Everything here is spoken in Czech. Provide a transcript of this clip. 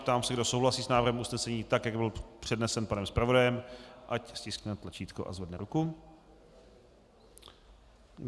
Ptám se, kdo souhlasí s návrhem usnesení tak, jak byl přednesen panem zpravodajem, ať stiskne tlačítko a zvedne ruku.